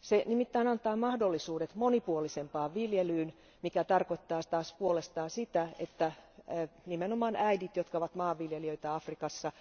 Se nimittäin antaa mahdollisuudet monipuolisempaan viljelyyn, mikä tarkoittaa taas puolestaan sitä, että nimenomaan äidit, jotka ovat maanviljelijöitä Afrikassa,